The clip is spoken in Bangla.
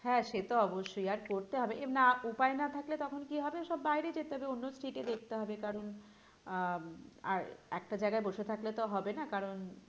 হ্যাঁ সে তো অবশ্যই আর করতে হবে না উপায় না থাকলে থাকলে তখন কি হবে সব বাইরে যেতে হবে অন্য state এ দেখতে হবে কারণ আহ আর একটা জায়গায় বসে থাকলে তো হবে না কারণ